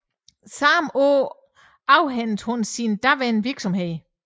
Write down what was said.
Samme år afhændede hun sine daværende virksomheder